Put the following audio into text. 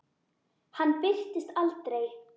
Hann birtist aldrei.